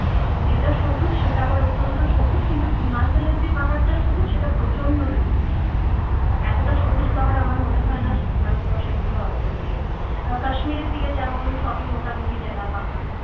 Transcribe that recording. যেটা সবুজ সেটা আবার অত্যন্ত সবুজ কিন্তু himachal এর যে পাহাড়টা সবুজ সেটা প্রচন্ড সবুজ এতটা সবুজ পাহাড় আমার মনে হয় না ভারতবর্ষে কোথাও আছে বলে আবার kashmir এর দিকে যেমন সবই মোটামুটি ন্যাড়া পাহাড়